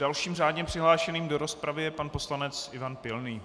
Dalším řádně přihlášeným do rozpravy je pan poslanec Ivan Pilný.